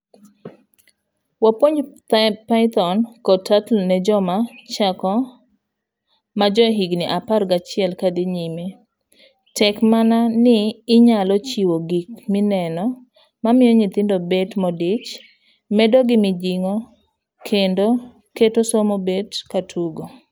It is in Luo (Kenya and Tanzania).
Wapuonjo Pytrhon kod Turtle ne joma chako majohiga apar gachiel kadhi nyime tek mana ni onyalo chiwo gik mineno mamiyo nyithindo bet modich.,medogi mijing'okendo keto somo bet katugo.